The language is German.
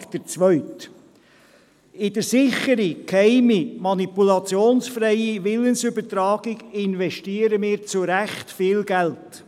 In die Sicherung der geheimen, manipulationsfreien Willensübertragung investieren wir zu Recht viel Geld.